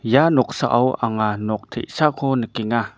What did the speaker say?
ia noksao anga nok te·sako nikenga.